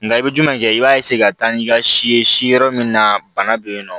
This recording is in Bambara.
Nga i bɛ jumɛn kɛ i b'a ka taa n'i ka si ye si yɔrɔ min na bana bɛ yen nɔ